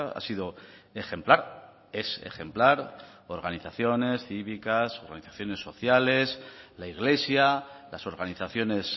ha sido ejemplar es ejemplar organizaciones cívicas organizaciones sociales la iglesia las organizaciones